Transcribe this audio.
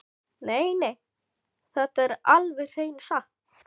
Nei, nei, þetta er alveg hreina satt!